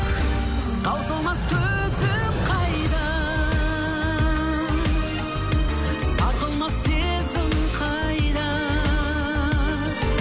таусылмас төзім қайда сарқылмас сезім қайда